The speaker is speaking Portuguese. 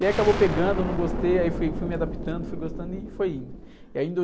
E aí acabou pegando, não gostei, aí fui, fui me adaptando, fui gostando e foi indo.